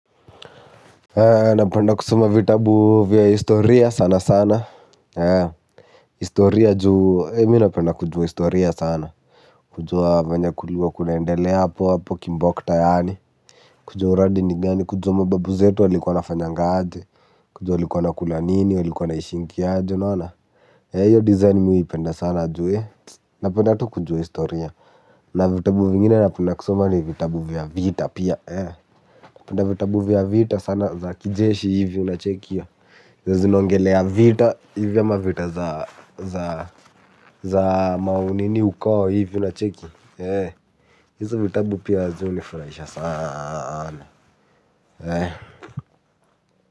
Ee napenda kusoma vitabu vya historia sana sana. Historia, mimi napenda kujuwa historia sana kujuwa venye kuliwa kunaendaelea hapo hapo kimbokta yani. Kujua uradi ni gani kujua mababu zetu walikuwa wanafanyanga aje kujua walikuwa wanakula nini walikuwa wanaishingi aje unaona eeh hiyo design mi huipenda sana ju wueh napenda tu kujua historia na vitabu zingine napenda kusoma ni za vitabu vya vita pia eeh. Penda vitabu vya vita sana za kijeshi hivyo na chekia. Zinaongelea vita hivyo ma vita za maunini uko hivyo na cheki. Hizo vitabu pia zi hunifraisha saana.